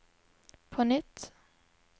på nytt